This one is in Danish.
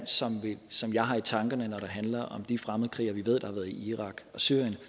som jeg har i tankerne når det handler om de fremmedkrigere vi ved har været i irak og syrien